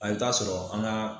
A bɛ taa sɔrɔ an ka